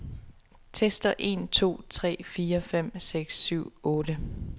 Tester en to tre fire fem seks syv otte.